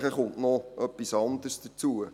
Nachher kommt noch etwas anderes hinzu.